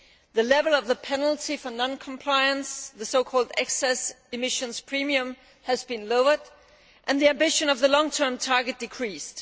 the level of the penalty for non compliance the excess emissions premium' has been lowered and the ambition of the long term target has been decreased.